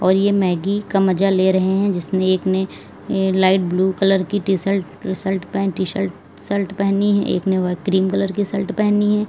यह मैगी का मजा ले रहे हैं। जिसने एक में लाइट ब्लू कलर की T shirt shirt pant T shirt shirt पहनी है। एक ने क्रीम कलर की शर्ट पहनी है।